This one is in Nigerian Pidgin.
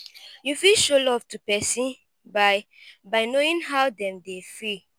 you fit show love to person by by knowing how dem dey feel